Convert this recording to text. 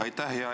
Aitäh!